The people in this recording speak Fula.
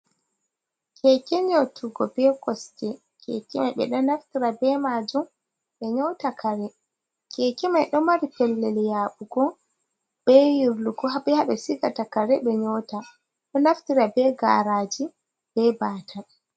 Keke nyautugo be kosɗe, keke Mai ɓeɗo naftirta be majum ɓe nyauta kare, keke mai do mari pellel yaɓugo be yirluko ha sigata kare ɓe nyauta, ɗo naftira be garaji be batal.